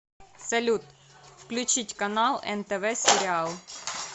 салют включить канал нтв сериал